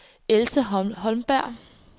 Else Holmberg